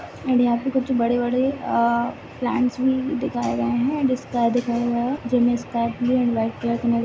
and यहाँ पे कुछ बड़े बड़े अ प्लांट्स भी दिखाए गए है एण्ड स्काए दिखाये गए है वाइट कलर --